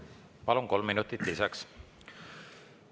Palun, kolm minutit lisaks!